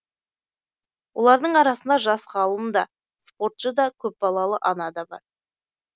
олардың арасында жас ғалым да спортшы да көпбалалы ана да бар